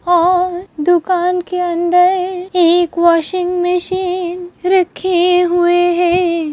और दुकान के अन्दर एक वाशिंग मशीन रखी हुए है।